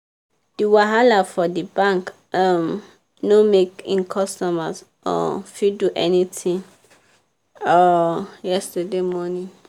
di wahala for di bank um no make e customers um fit do any tin um yesterday morning.